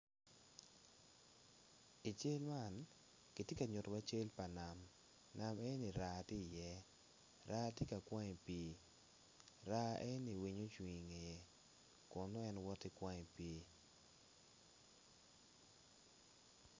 I cel man, kitye ka nyutiwa cam pa nam nam enino raa tye i ye raa tye ka kwang i pii raa enoni winyo ocung i ngeye kun nong en woto ki kwang i pii.